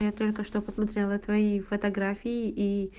я только что посмотрела твои фотографии и